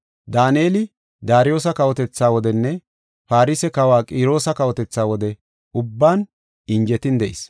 Daaneli Daariyosa kawotetha wodenne Farse kawa Qiroosa kawotetha wode ubban injetin de7is.